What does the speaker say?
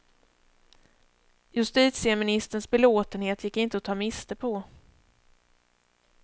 Justitieministerns belåtenhet gick inte att ta miste på.